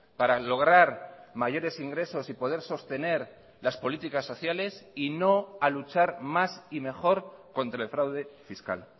para lograr mayores ingresos y poder sostener las políticas sociales y no a luchar más y mejor contra el fraude fiscal